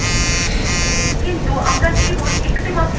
কিন্তু আমরা কেবল একটিমাত্র মেঘ দেখতে পাচ্ছি !